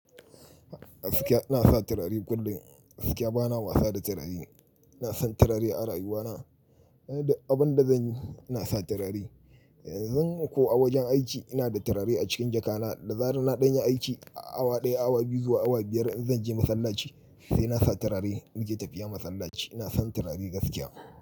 Gaskiya ina sa turare kullum. Gaskiya ba na wasa da turare. Ina san turare a rayuwana. Abin da zan yi, ina sa turare. Yanzu nan ko wajen aiki, ina da turare a cikin jaka na. Da zarar ina ɗanya aiki awa ɗaya, awa biyu, zuwa awa biyar in zan je masallaci, sai na sa turare ni ke tafiya masallaci. Ina san turare da gaskiya.